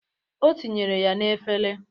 O tinyere ya n'efere.